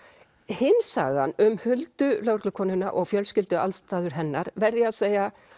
hin sagan um Huldu lögreglukonuna og fjölskylduaðstæður hennar verð ég að segja